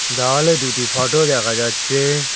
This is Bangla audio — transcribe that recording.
দেওয়ালে দুইটি ফোটো দেখা যাচ্ছে।